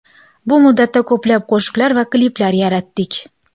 Bu muddatda ko‘plab qo‘shiqlar va kliplar yaratdik.